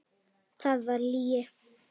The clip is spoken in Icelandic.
Það var lygi.